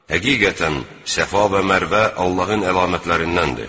Həqiqətən, Səfa və Mərvə Allahın əlamətlərindəndir.